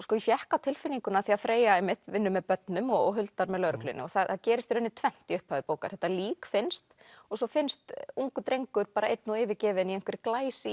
fékk á tilfinninguna af því að Freyja vinnur með börnum og Huldar með lögreglunni það gerist í rauninni tvennt í upphafi bókar þetta lík finnst og svo finnst ungur drengur einn og yfirgefinn í